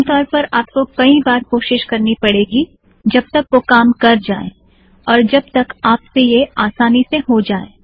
आम तौर पर आपको कईं बार कोशीश करनी पड़ेगी जब तक वह काम कर जाए और जब तक आप से यह आसानी से हो जाएँ